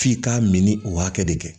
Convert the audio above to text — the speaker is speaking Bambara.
F'i k'a mini o hakɛ de kɛ